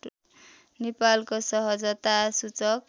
नेपालको सहजता सूचक